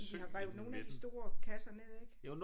Men de har revet nogle af de store kasser ned ik